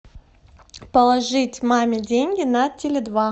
положить маме деньги на теле два